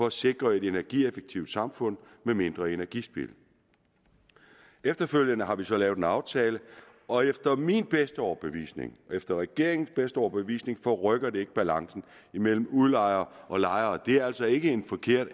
at sikre et energieffektivt samfund med mindre energispild efterfølgende har vi så lavet en aftale og efter min bedste overbevisning og efter regeringens bedste overbevisning forrykker det ikke balancen imellem udlejere og lejere det er altså ikke en forkert